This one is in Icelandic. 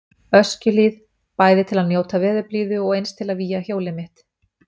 Öskjuhlíð, bæði til að njóta veðurblíðu og eins til að vígja hjólið mitt.